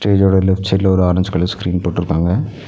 Stage ஓட left சைடுல ஒரு ஆரஞ்சு கலர் ஸ்கிரீன் போட்டுருக்காங்க.